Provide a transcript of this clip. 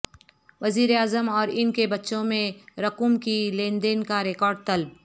وزیراعظم اور ان کے بچوں میں رقوم کی لین دین کا ریکارڈ طلب